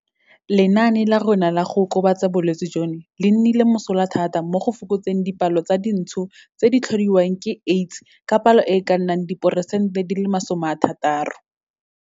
Lenaane la rona la go okobatsa bolwetse jono le nnile mosola thata mo go fokotseng dipalo tsa dintsho tse di tlhodiwang ke AIDS ka palo e e kanaka diperesente di le 60.